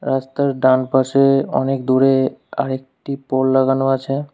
রাস্তার ডান পাশে অনেক দূরে আরেকটি পোল লাগানো আছে।